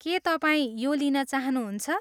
के तपाईँ यो लिन चाहनुहुन्छ?